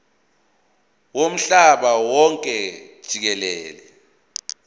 womhlaba wonke jikelele